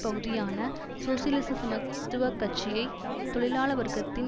பகுதியான சோசியலிச சமத்துவ கட்சியை தொழிலாள வர்க்கத்தின்